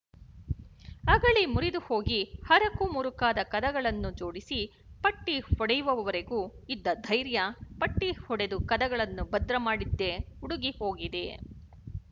ಅಗಳಿ ಮುರಿದುಹೋಗಿ ಹರಕುಮುರುಕಾದ ಕದಗಳನ್ನು ಜೋಡಿಸಿ ಪಟ್ಟಿ ಹೊಡೆಯುವವರೆಗೂ ಇದ್ದ ಧೈರ್ಯ ಪಟ್ಟಿ ಹೊಡೆದು ಕದಗಳನ್ನು ಭದ್ರಮಾಡಿದ್ದೇ ಉಡುಗಿ ಹೋಗಿದೆ